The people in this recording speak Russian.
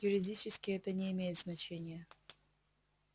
юридически это не имеет значения